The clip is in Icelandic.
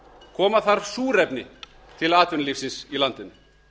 koma þarf súrefni tl atvinnulífsins í landinu